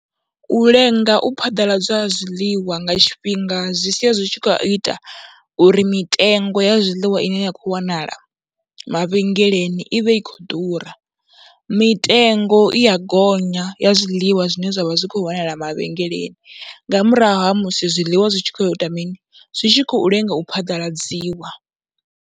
U lenga u phaḓaladzwa ha zwiḽiwa nga tshifhinga zwi sia zwi tshi khou ita uri mitengo ya zwiḽiwa ine ya khou wanala mavhengeleni i vhe i khou ḓura, mitengo i ya gonya ya zwiḽiwa zwine zwa vha zwi khou wanala mavhengeleni nga murahu ha musi zwiḽiwa zwi tshi khou ya u ita mini, zwi tshi khou lenga u phaḓaladziwa.